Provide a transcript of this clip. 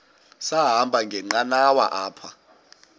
sahamba ngenqanawa apha